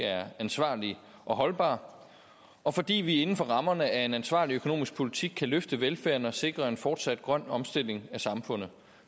er ansvarlig og holdbar og fordi vi inden for rammerne af en ansvarlig økonomisk politik kan løfte velfærden og sikre en fortsat grøn omstilling af samfundet